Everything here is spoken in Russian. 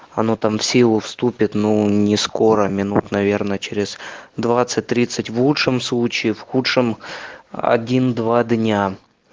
оно там в силу вступит но ни скоро минут наверное через двадцать тридцать в лучшем случае в худшем один два дня